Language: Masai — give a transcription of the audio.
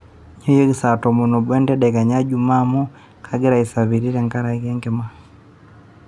nyooyieeki saa tomon oobo entedekenya jumaa amu kangira aisapiri tenkari enkima